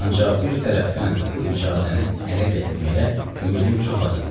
Ancaq bir tərəfdən bu icazəni ələ gətirməyə ümidim çox az idi.